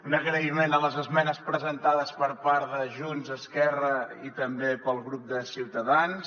un agraïment per les esmenes presentades per part de junts esquerra i també pel grup de ciutadans